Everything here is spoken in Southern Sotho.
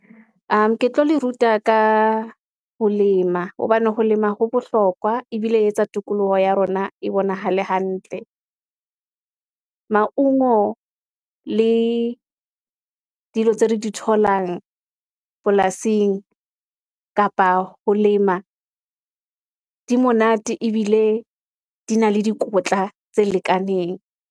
Ke tlo le ruta ka ho lema, hobane ho lema ho bohlokwa, ebile e etsa tikoloho ya rona e bonahale hantle. Mauno le dilo tse re di tholang polasing, kapa ho lema, di monate, ebile di na le dikotla tse lekaneng.